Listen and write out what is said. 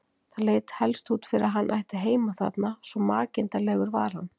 Það leit helst út fyrir að hann ætti heima þarna, svo makinda legur var hann.